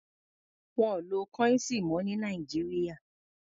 Wọ́n ò lo kọ́íǹsì mọ́ ní Nàìjíríà.